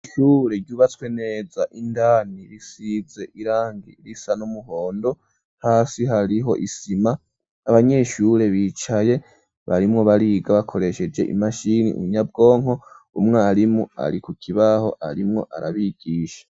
Ishure ryubatswe neza indani risize irangi risa n'umuhondo hasi hariho isima abanyeshure bicaye barimwo bariga bakoresheje imashini inyabwonko umwarimu ari ku kibaho arimwo arabigisha.